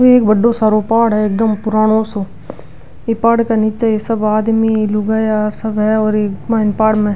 ये एक बड़ो सारो पहाड़ है एकदम पुरानो सो ये पहाड़ के नीचे ये सब आदमी लुगाईया सब है और इ माइन पहाड़ में।